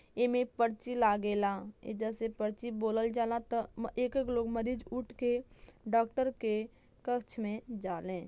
एमे पर्ची लागेला। ऐजा से पर्ची बोलल जाला त एक एक लोग मरीज उठ के डॉक्टर के कक्ष में जाले।